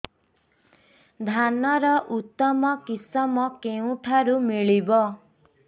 ଧାନର ଉତ୍ତମ କିଶମ କେଉଁଠାରୁ ମିଳିବ